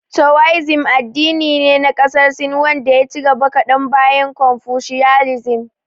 Towaizim addini ne na ƙasar Sin wanda ya ci gaba kadan bayan konfushiyanizim.